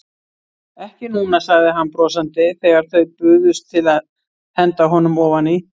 Ekki núna, sagði hann brosandi þegar þau buðust til að henda honum ofaní.